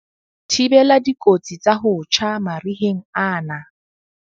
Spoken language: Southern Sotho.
Thibela dikotsi tsa ho tjha mariheng ana.